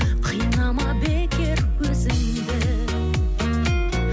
қинама бекер өзіңді